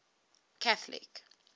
catholic